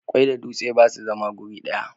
Ƙwai da dutse ba su zama wuri guda.